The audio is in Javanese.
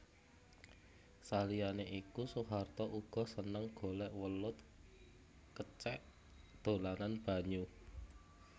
Saliyané iku Soeharto uga seneng golèk welut kecèk dolanan banyu